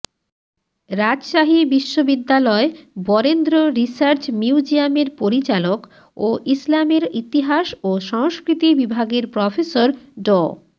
রাজশাহী বিশ্ববিদ্যালয় বরেন্দ্র রিসার্চ মিউজিয়ামের পরিচালক ও ইসলামের ইতিহাস ও সংস্কৃতি বিভাগের প্রফেসর ড